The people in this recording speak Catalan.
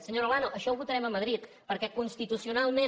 senyora olano això ho votarem a madrid perquè constitucionalment